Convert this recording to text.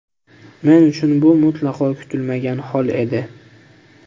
Men uchun bu mutlaqo kutilmagan hol edi.